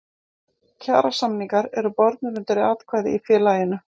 Kjarasamningar eru bornir undir atkvæði í félaginu.